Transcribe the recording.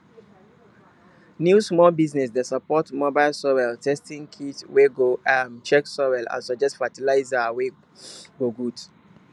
new small business dey support mobile soil testing kit wey go um check soil and suggest fertilizer we go good